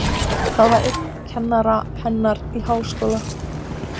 Það var einn kennara hennar í Háskólanum.